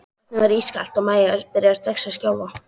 Vatnið var ískalt og Maja byrjaði strax að skjálfa.